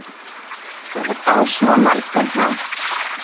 Á svo margan hátt.